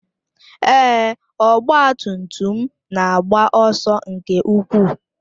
Èé, ọgba tum tum m na-agba ọsọ nke ukwuu.